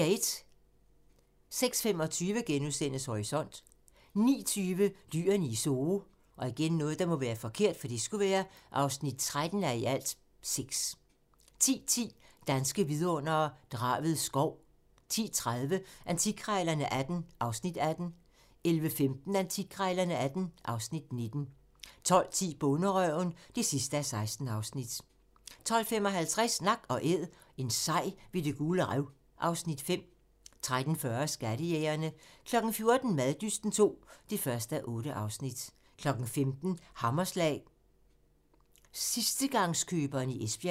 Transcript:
06:25: Horisont * 09:20: Dyrene i Zoo (13:6) 10:10: Danske vidundere: Draved Skov 10:30: Antikkrejlerne XVIII (Afs. 18) 11:15: Antikkrejlerne XVIII (Afs. 19) 12:10: Bonderøven (16:16) 12:55: Nak & Æd - en sej ved Det Gule Rev (Afs. 5) 13:40: Skattejægerne 14:00: Maddysten II (1:8) 15:00: Hammerslag - sidstegangskøberen i Esbjerg